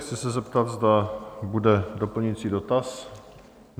Chci se zeptat, zda bude doplňující dotaz?